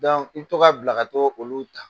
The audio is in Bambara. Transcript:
Dɔnku i bi to ka bila ka t'o olu ta